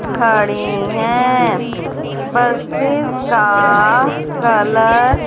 खड़ी हैं बसेस का कलर --